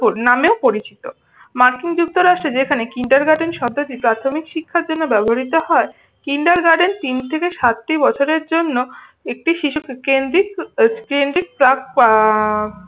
নামেও পরিচিত। মার্কিন যুক্তরাষ্ট্রে যেখানে কিন্ডারগার্ডেন শব্দটি প্রাথমিক শিক্ষার জন্য ব্যবহৃত হয় কিন্ডারগার্ডেন তিন থেকে সাত বছরের জন্য একটি শিশুকে কেন্দ্রিক কেন্দ্রিক চাপ আহ